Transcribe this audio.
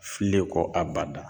Filen ko a bada.